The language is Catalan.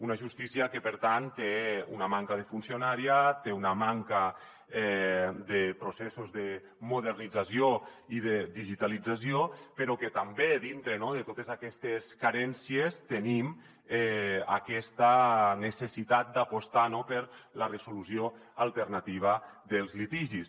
una justícia que per tant té una manca de funcionariat té una manca de processos de modernització i de digitalització però també dintre de totes aquestes carències tenim aquesta necessitat d’apostar per la resolució alternativa dels litigis